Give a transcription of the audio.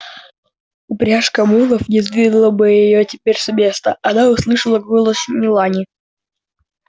упряжка мулов не сдвинула бы её теперь с места она услышала голос мелани